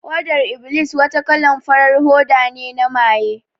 Hodar iblis wata kalan farar hoda ne na maye